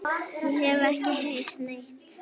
Ég hef ekki heyrt neitt.